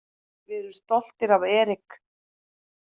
Við erum stoltir af Eric.